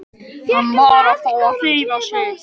Hann varð að fá að hreyfa sig.